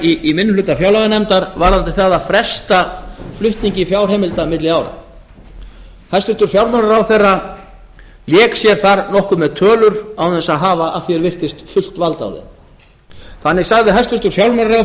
okkar í minni hluta fjárlaganefndar varðandi það að fresta flutningi fjárheimilda milli ára hæstvirtur fjármálaráðherra lék sér þar nokkuð með tölur án þess að hafa að því er virtist fullt vald á þeim þannig sagði hæstvirtur fjármálaráðherra